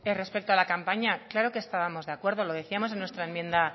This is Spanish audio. respecto a la campaña claro que estamos de acuerdo lo decíamos en nuestra enmienda